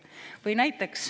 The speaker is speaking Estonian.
Või selline näide.